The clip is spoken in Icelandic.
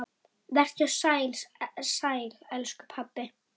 Vertu sæll, elsku pabbi.